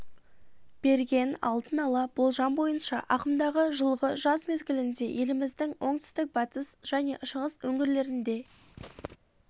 берген алдын ала болжам бойынша ағымдағы жылғы жаз мезгілінде еліміздің оңтүстік батыс және шығыс өңірлерінде